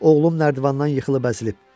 Oğlum nərdivandan yıxılıb əzilib.